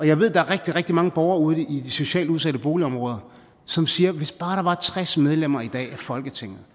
jeg ved at der er rigtig rigtig mange borgere ude i de socialt udsatte boligområder som siger hvis bare der var tres medlemmer af folketinget